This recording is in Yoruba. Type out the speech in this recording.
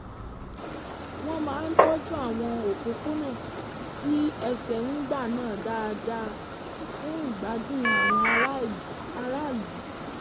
wọ́n máa ń tọ́jú àwọn òpópónà tí ẹsẹ̀ ń gbà náà dáadáa fún ìgbádùn àwọn aráàlú